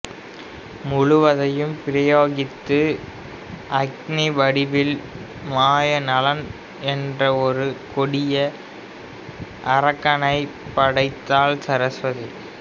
முழுவதையும் பிரயோகித்து அக்கினி வடிவில் மாய நலன் என்ற ஒரு கொடிய அரக்கனைப் படைத்தாள் சரஸ்வதி